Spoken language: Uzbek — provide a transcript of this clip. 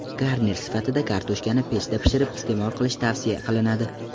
Garnir sifatida kartoshkani pechda pishirib iste’mol qilish tavsiya qilinadi.